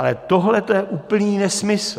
Ale tohleto je úplný nesmysl.